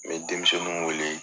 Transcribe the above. N bɛ denmisɛninw wele